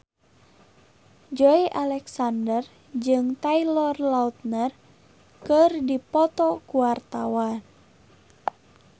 Joey Alexander jeung Taylor Lautner keur dipoto ku wartawan